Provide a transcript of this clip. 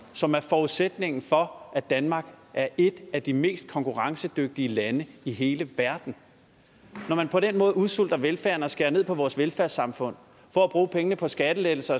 som er forudsætningen for at danmark er et af de mest konkurrencedygtige lande i hele verden når man på den måde udsulter velfærden og skærer ned på vores velfærdssamfund for at bruge pengene på skattelettelser